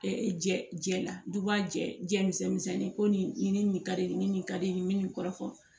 jɛla duba jɛ misɛnnin ko nin ni nin ka di nin ka di nin kɔrɔfɔ